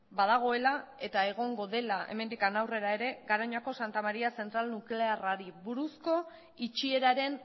badagoela eta egongo dela hemendik aurrera ere garoñako santa maria zentral nuklearrari buruzko itxieraren